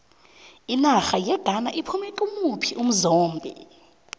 inarha yeghana iphume kimuphi umzombe